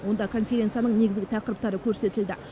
онда конференцияның негізгі тақырыптары көрсетілді